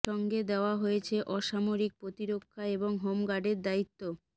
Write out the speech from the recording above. সঙ্গে দেওয়া হয়েছে অসমারিক প্রতিরক্ষা এবং হোমগার্ডের দায়িত্ব